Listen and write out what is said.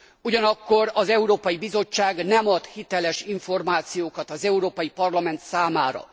Ugyanakkor az Európai Bizottság nem ad hiteles információkat az Európai Parlament számára.